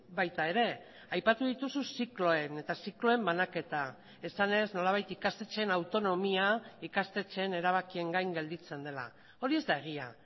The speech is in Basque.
baita ere aipatu dituzu zikloen eta zikloen banaketa esanez nolabait ikastetxeen autonomia ikastetxeen erabakien gain gelditzen dela hori ez da egia